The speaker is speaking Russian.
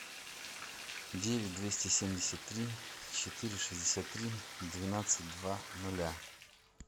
девять двести семьдесят три четыре шестьдесят три двенадцать два ноля